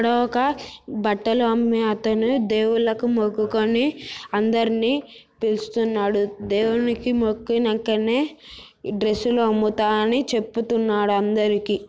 ఇక్కడ ఒక బట్టలు అమ్మే అతను దేవుళ్ళకు మొక్కుకుని అందర్నీ పిలుస్తున్నాడు దేవునికి మొక్కినంకనే డ్రెస్ లు అమ్ముతానని చెబుతున్నాడు అందరికి.